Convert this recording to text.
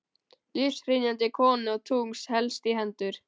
Lífshrynjandi konu og tungls helst í hendur.